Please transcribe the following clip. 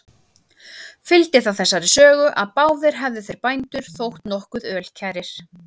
Fylgdi það þessari sögu, að báðir hefðu þeir bændur þótt nokkuð ölkærir.